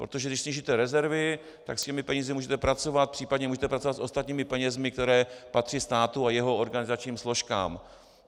Protože když snížíte rezervy, tak s těmi penězi můžete pracovat, případně můžete pracovat s ostatními penězi, které patří státu a jeho organizačním složkám.